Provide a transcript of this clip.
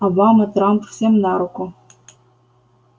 обама трамп всем на руку